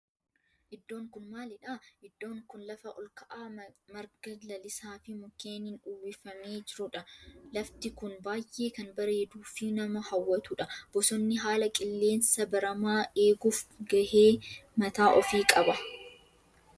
Iddoon kun maalidha? Iddoon kun lafa olka'aa marga lalisaa fi mukkeenin uwwifamee jirudha. Lafti kun baayyee kan bareeduu fi nama hawwatudha. Bosonni haala qilleensa baramaa eeguf gahee mataa ofi qaba.